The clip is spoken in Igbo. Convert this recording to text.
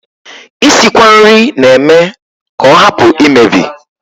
Isikwa nri na-eme ka ọ hapụ imebi